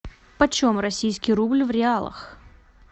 почем российский рубль в реалах